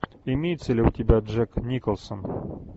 имеется ли у тебя джек николсон